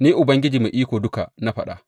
Ni Ubangiji Mai Iko Duka na faɗa.